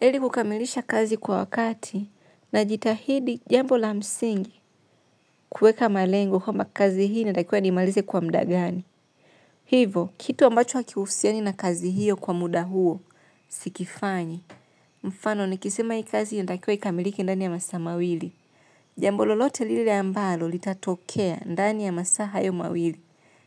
Ili kukamilisha kazi kwa wakati najitahidi jambo la msingi kueka malengo kwamba kazi hii natakiwa nimalize kwa mda gani. Hivo, kitu ambacho hakihusiani na kazi hiyo kwa muda huo, sikifanyi, mfano nikisema hii kazi inatakiwa ikamilike ndani ya masaa mawili. Jambo lolote lile ambalo litatokea ndani ya masaa hayo mawili,